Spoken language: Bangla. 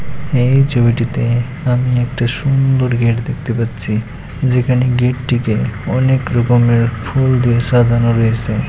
এই ছবিটিতে আমি একটা সুন্দর গেট দেখতে পাচ্ছি। যেখানে গেটটিকে অনেক রকমের ফুল দিয়ে সাজানো রয়েছে।